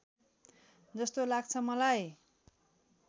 जस्तो लाग्छ मलाई